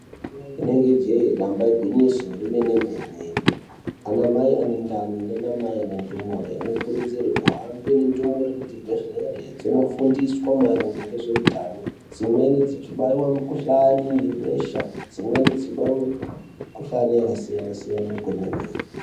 Rinenge jee, damba igwinyiso remene-mene, anamai ane ndani nanamai ane ndumure anokurudzirwa kuhambe nendumure kuzvibhedhlera, dzondofundiswa maringe ngezveutano. Dzimweni dzichibaiwa mikuhlani yebesha, dzimweni dzichibaiwa mikhuhlana yakasiyana-siyana kwemene.